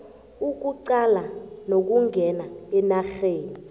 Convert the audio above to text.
ukuqalana nokungena enarheni